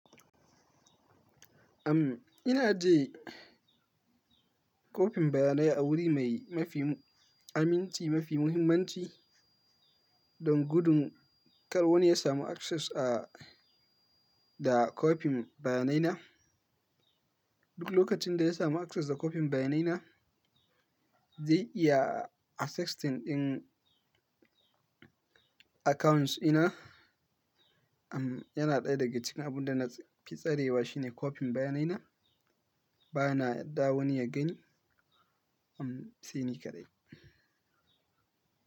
Am, ina ji kopin bayanai a wuri mai mafi aminci, mafi muhimmanci don gudun kar wani ya samu access a da kopin bayanai na. Duk lokacin da ya samu access da kopin bayanai na, zai iya accessing ɗin accounts dina. Am, yana ɗaya daga cikin abun da na fi tsarewa shine kopin bayanai na. Ba na yarda wani ya gani, am, sai ni kaɗai.